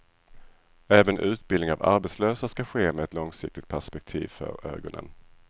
Även utbildning av arbetslösa ska ske med ett långsiktigt perspektiv för ögonen.